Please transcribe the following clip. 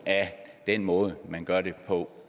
af den måde man gør det på